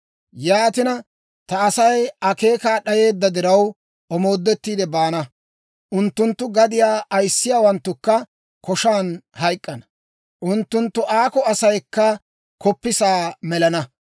Yaatina, ta Asay akeekaa d'ayeedda diraw, omoodettiide baana; unttunttu gadiyaa ayissiyaawanttukka koshan hayk'k'ana; unttunttu aakko asaykka koppisaa melana.